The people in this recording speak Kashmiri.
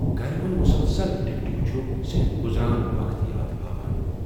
گرِ ہُند مُسلسل ٹِکٹِك چھُ صرف گُزران وقت یاد پاوان ۔